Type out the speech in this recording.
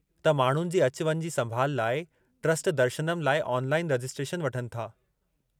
त माण्हुनि जी अचु वञु जी संभाल लाइ ट्र्स्ट दर्शनम लाइ ऑनलाइन रजिस्ट्रेशन वठनि था।